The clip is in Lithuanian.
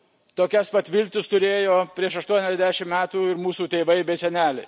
Tokias pat viltis turėjo prieš aštuoniasdešimt metų ir mūsų tėvai bei seneliai.